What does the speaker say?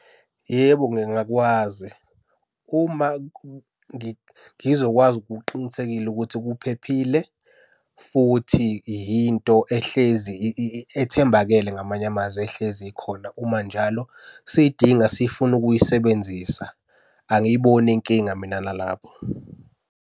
Yebo, ngingakwazi. Uma ngizokwazi ngokuqinisekile ukuthi kuphephile futhi yinto ehlezi ethembakele ngamanye amazwi, ehlezi ikhona uma njalo siyidinga siyifuna ukuyisebenzisa. Angiyiboni inkinga mina nalabo.